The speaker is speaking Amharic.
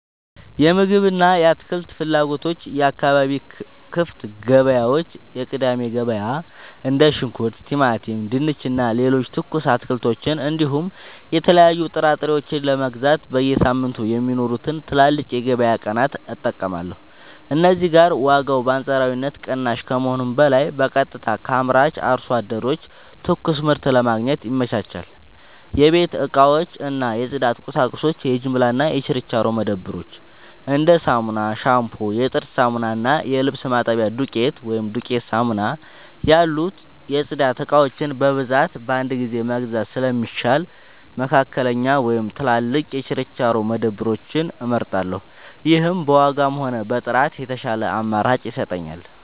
የምግብ እና የአትክልት ፍላጎቶች የአካባቢ ክፍት ገበያዎች (የቅዳሜ ገበያ): እንደ ሽንኩርት፣ ቲማቲም፣ ድንች እና ሌሎች ትኩስ አትክልቶችን እንዲሁም የተለያዩ ጥራጥሬዎችን ለመግዛት በየሳምንቱ የሚኖሩትን ትላልቅ የገበያ ቀናት እጠቀማለሁ። እዚህ ጋር ዋጋው በአንጻራዊነት ቅናሽ ከመሆኑም በላይ በቀጥታ ከአምራች አርሶ አደሮች ትኩስ ምርት ለማግኘት ይመቻቻል። 2. የቤት እቃዎች እና የጽዳት ቁሳቁሶች የጅምላ እና የችርቻሮ መደብሮች: እንደ ሳሙና፣ ሻምፑ፣ የጥርስ ሳሙና እና የልብስ ማጠቢያ ዱቄት (ዱቄት ሳሙና) ያሉ የጽዳት እቃዎችን በብዛት በአንድ ጊዜ መግዛት ስለሚሻል፣ መካከለኛ ወይም ትላልቅ የችርቻሮ መደብሮችን እመርጣለሁ። ይህም በዋጋም ሆነ በጥራት የተሻለ አማራጭ ይሰጠኛል።